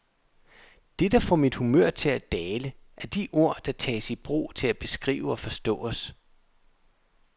Det, der får mit humør til at dale, er de ord, der tages i brug til at beskrive og forstå os.